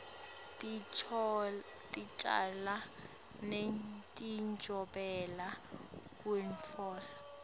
ticalo netijobelelo kutfola